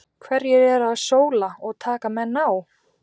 Hverjir eru að sóla og taka menn á?